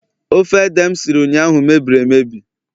ofe ede m siri ụnyahụ mebiri emebie